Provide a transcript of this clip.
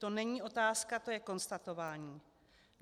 To není otázka, to je konstatování.